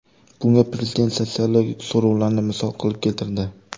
Bunga prezident sotsiologik so‘rovlarni misol qilib keltirdi.